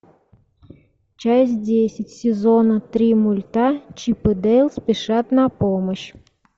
часть десять сезона три мульта чип и дейл спешат на помощь